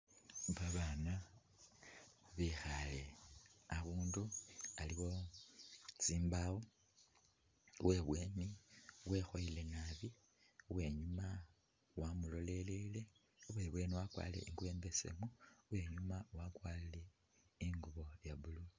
Abaana bekhaale abundu aliwo tsimbawo uwebweni wekhoyele naabi, uwenyuma wamulolelele, uwebweni wakwarile ingubo imbesemu uwenyuma wakwarile ingubo iya'blue